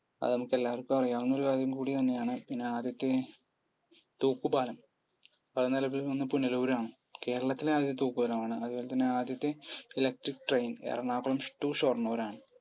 അത് നമുക്ക് എല്ലാവർക്കും അറിയാവുന്നൊരു കാര്യം കൂടിത്തന്നെയാണ്. ഇനി ആദ്യത്തെ തൂക്കുപാലം? പുനലൂരാണ് കേരളത്തിലെ ആദ്യത്തെ തൂക്കുപാലം ആണ്. അതുപോലെത്തന്നെ ആദ്യത്തെ electric train Ernakulam to Shoranur ആണ്.